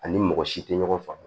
Ani mɔgɔ si tɛ ɲɔgɔn faamu